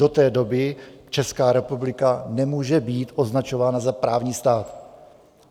Do té doby Česká republika nemůže být označována za právní stát.